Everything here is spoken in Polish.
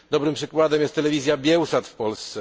Dobrym przykładem jest telewizja Biełsat w Polsce.